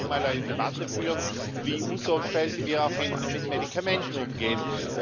Wir könnten ja auch mal eine Debatte führen, wie unsorgfältig wir auch mit Medikamenten umgehen.